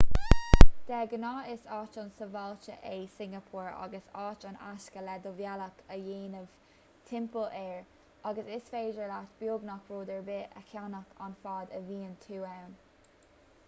de ghnáth is áit an-sábháilte é singeapór agus áit an-éasca le do bhealach a dhéanamh timpeall air agus is féidir leat beagnach rud ar bith a cheannach ann fad a bhíonn tú ann